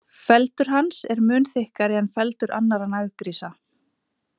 Feldur hans er mun þykkari en feldur annarra naggrísa.